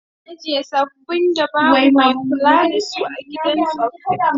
Ana ajiye tsaffin da babu mai kulawa da su a gidan tsaffi